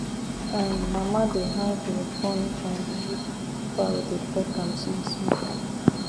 um mama dey hang guinea corn bundle make fowl dey peck am smallsmall